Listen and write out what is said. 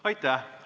Aitäh!